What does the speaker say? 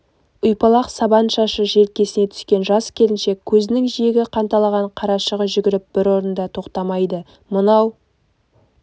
ұйпалақ сабан шашы желкесіне түскен жас келіншек көзінің жиегі қанталаған қарашығы жүгіріп бір орында тоқтамайды мынау